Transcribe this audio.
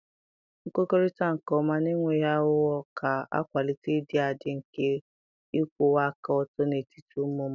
Nkwukọrịta nke ọma na enweghị aghụghọ ga-akwalite ịdị adị nke ịkwụwa aka ọtọ n'etiti ụmụ mmadụ.